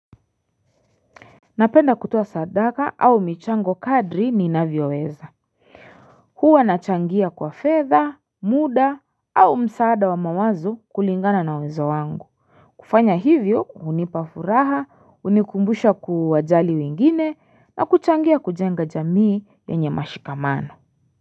Napenda kutoa sadaka au michango kadri niinavyoweza huwa nachangia kwa fedha mda au msaada wa mawazo kulingana na uwezo wangu kufanya hivyo hunipa furaha hunikumbusha kuwajali wengine na kuchangia kujenga jamii yenye mashikamano.